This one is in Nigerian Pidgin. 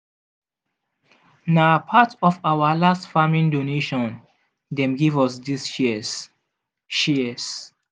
na part of our last farming donation dem give us these shears. shears.